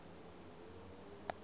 wahleka